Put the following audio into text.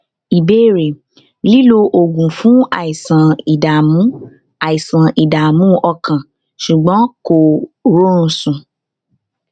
tẹlẹ àwọ rẹ le mọ tàbí kó jẹ pale yẹlò kìí ní àwọ sánmà